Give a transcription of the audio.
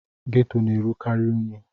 Geto na-erukari unyi.